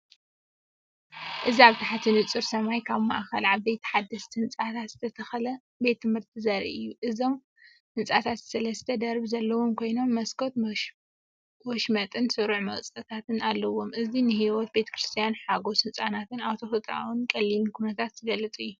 እዚ ኣብ ትሕቲ ንጹር ሰማይ ኣብ ማእከል ዓበይቲ ሓደስቲ ህንጻታት ዝተተኽለ ቤት ትምህርቲ ዘርኢ እዩ። እቶም ህንጻታት ሰለስተ ደርቢ ዘለዎም ኮይኖም፡መስኮት ወሽመጥን ስሩዕ መውጽኢታትን ኣለዎም። እዚ ንህይወት ቤት ትምህርትን ሓጐስ ህጻናትን ኣብ ተፈጥሮኣውን ቀሊልን ኵነታት ዝገልጽ እዩ።